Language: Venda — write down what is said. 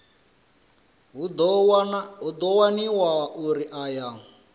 hu ḓo waniwa uri aya